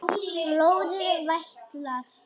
Blóðið vætlar.